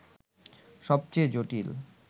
সবচেয়ে জটিল